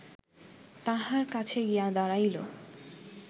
তাঁহার কাছে গিয়া দাঁড়াইল